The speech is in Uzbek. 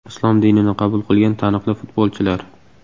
Islom dinini qabul qilgan taniqli futbolchilar .